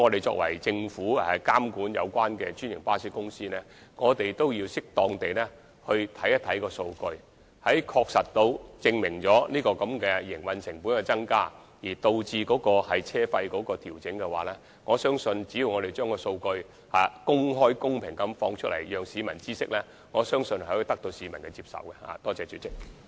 由於政府負責監管專營巴士公司，我們必須適當地研究數據，當證實營運成本增加而導致車費須予調整時，我相信只要我們將數據公開、公平地讓市民知悉，是可以得到市民的接受的。